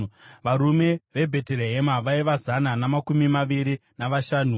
varume veBheterehema vaiva zana namakumi maviri navashanu;